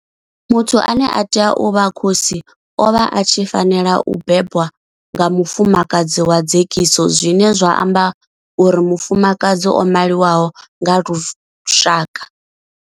Muthu ane a tea u vha khosi o vha a tshi fanela u bebwa nga mufumakadzi wa dzekiso zwine zwa amba uri mufumakadzi o maliwaho nga lushaka.